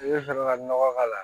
I bɛ sɔrɔ ka nɔgɔ k'a la